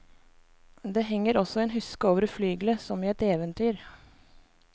Det henger også en huske over flygelet, som i et eventyr.